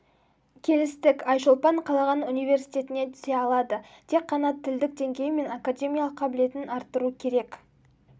келістік айшолпан қалаған университетіне түсе алады тек қана тілдік деңгейі мен академиялық қабілетін арттыру керек